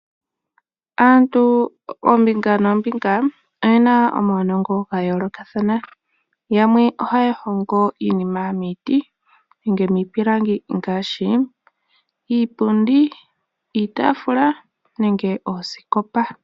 Aantu oombinga noombinga, oye na omaunongo ga yoolokathana .Yamwe ohaya hongo iinima miiti nenge miipilangi ngaashi iipundi, iitaafula nenge oosikopa.